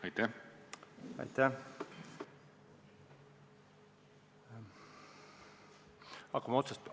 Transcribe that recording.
Aitäh!